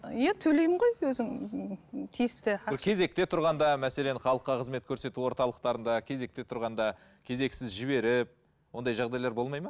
иә төлеймін ғой өзің ііі тиісті кезекте тұрғанда мәселен халыққа қызмет көрсету орталықтарында кезекте тұрғанда кезексіз жіберіп ондай жағдайлар болмайды ма